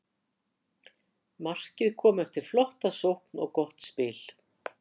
Markið kom eftir flotta sókn og gott spil.